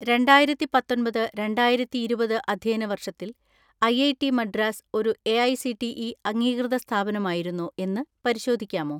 രണ്ടായിരത്തിപത്തൊമ്പത് രണ്ടായിരത്തിഇരുപത് അധ്യയന വർഷത്തിൽ ഐഐടി മദ്രാസ് ഒരു എഐസിടിഇ അംഗീകൃത സ്ഥാപനമായിരുന്നോ എന്ന് പരിശോധിക്കാമോ?